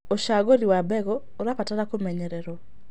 Ũcagũrĩ wa mbegũ ũrabatara kũmenyererwo